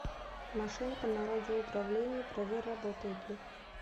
машинка на радиоуправлении проверь работает ли